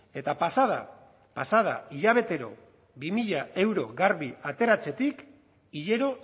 eta pasa da pasa da hilabetero bi mila euro garbi ateratzetik hilero